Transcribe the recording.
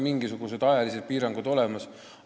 Mingisugused ajalised piirangud on olemas.